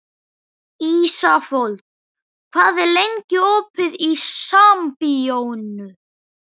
Ísafold, hvað er lengi opið í Sambíóunum?